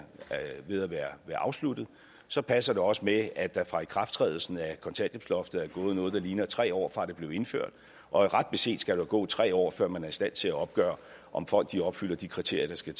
ved at være afsluttet så passer det også med at der fra ikrafttrædelsen af kontanthjælpsloftet er gået noget der ligner tre år fra det blev indført og ret beset skal der gå tre år før man er i stand til at opgøre om folk opfylder de kriterier der skal